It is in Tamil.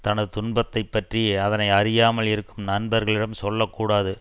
தனது துன்பத்தை பற்றி அதனை அறியாமல் இருக்கும் நண்பர்களிடம் சொல்ல கூடாது